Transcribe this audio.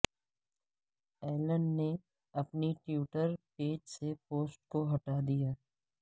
Alan نے اپنی Twitter page سے پوسٹ کو ہٹا دیا